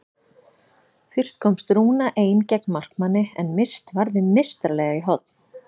Fyrst komst Rúna ein gegn markmanni en Mist varði meistaralega í horn.